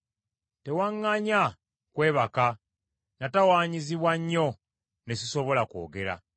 Tewaŋŋanya kwebaka; natawaanyizibwa nnyo ne sisobola kwogera.